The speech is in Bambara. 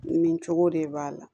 Nin cogo de b'a la